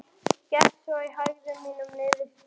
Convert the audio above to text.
Gekk svo í hægðum mínum niður stigann.